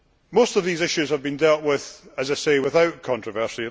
Most of these issues have been dealt with, as I have said, without controversy.